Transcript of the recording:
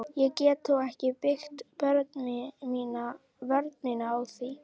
Ég get þó ekki byggt vörn mína á því.